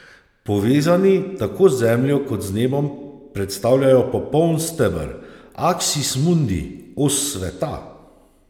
Povezani tako z zemljo kot z nebom predstavljajo popoln steber, aksis mundi, os sveta.